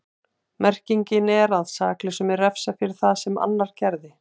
Merkingin er að saklausum er refsað fyrir það sem annar gerði.